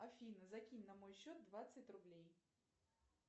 афина закинь на мой счет двадцать рублей